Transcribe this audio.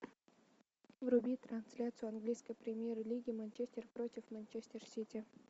вруби трансляцию английской премьер лиги манчестер против манчестер сити